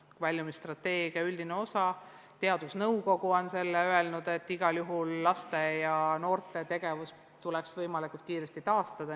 Väljumisstrateegia üldises osas on teadusnõukogu öelnud, et laste ja noorte tegevus tuleks igal juhul võimalikult kiiresti taastada.